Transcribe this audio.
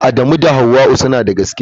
Adamu da Hauwa'u suna da gaskiya.